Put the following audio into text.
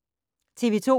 TV 2